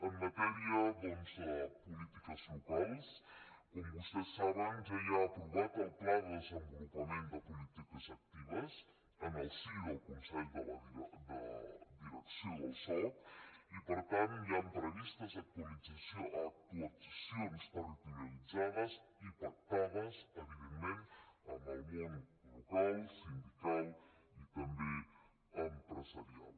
en matèria de polítiques locals com vostès saben ja hi ha aprovat el pla de desenvolupament de polítiques actives en el si del consell de direcció del soc i per tant hi han previstes actuacions territorialitzades i pactades evidentment amb el món local sindical i també empresarial